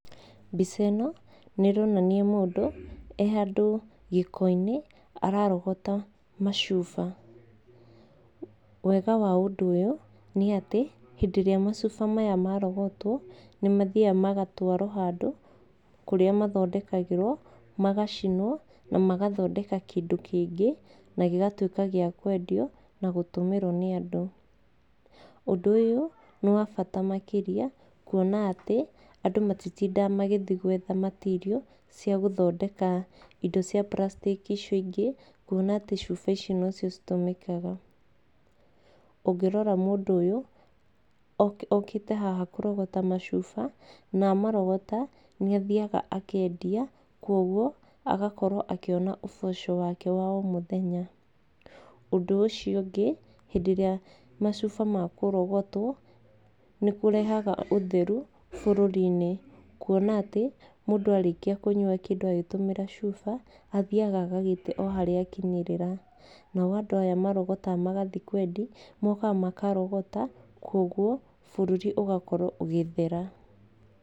Mbica ĩno, nĩ ĩronania mũndũ, e handũ, gĩko-inĩ ararogota macuba. Wega wa ũndũ ũyũ, nĩ atĩ, hĩndĩ ĩrĩa macuba maya marogotwo, nĩ mathiaga magatwarwo handũ, kũrĩa mathondekagĩrwo, magacinwo, na magathondeka kĩndũ kĩngĩ, na gĩgatuĩka gĩa kwendio, na gũtũmĩrwo nĩ andũ. Ũndũ ũyũ, nĩ wa bata makĩria, kuona atĩ, andũ matitindaga magĩthiĩ gwetha matirio cia gũthondeka indo cia burathitĩki icio ingĩ, kuona atĩ indo icio nocio citũmĩkaga. Ũngĩrora mũndũ ũyũ, okĩ okĩte haha kũrogota macuba, na arogota, nĩ athiaga akendia kuoguo agakorwo akĩona ũboco wake wa o mũthenya. Ũndũ ũcio ũngĩ, hĩndĩ ĩrĩa macuba makũrogotwo, nĩ kũrehaga ũtheru bũrũri-inĩ kuona atĩ, mũndũ arĩkia kũnywa kĩndũ ũgĩtũmĩra cuba, athiaga agagĩte o harĩa akinyĩrĩra, nao andũ aya marogotaga magathiĩ kwendia, mokaga makarogota, kuoguo, bũrũri ũgakorwo ũgĩthera.